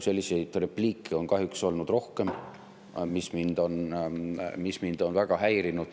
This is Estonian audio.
Selliseid repliike on kahjuks olnud rohkem ja see on mind väga häirinud.